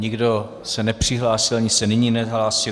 Nikdo se nepřihlásil, ani se nyní nehlásí.